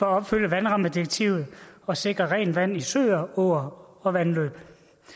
at opfylde vandrammedirektivet og sikre rent vand i søer åer og vandløb